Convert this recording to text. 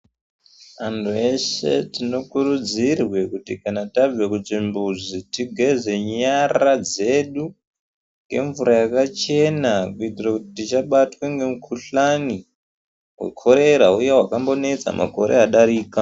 Anhu eshe tinokurudzirwe kuti kana tabve kuchimbuzi tigeze nyara dzedu ngemvura yakachena kuitire kuti tisabatwe ngemikhuhlane wekorera uya wakambonetsa makore adarika.